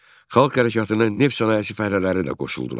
Xalq hərəkatına neft sənayesi fəhlələri də qoşuldular.